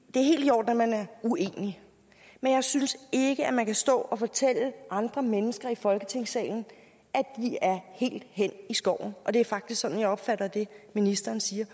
er helt i orden at man er uenig men jeg synes ikke at man kan stå og fortælle andre mennesker i folketingssalen at de er helt hen i skoven og det er faktisk sådan jeg opfatter det ministeren siger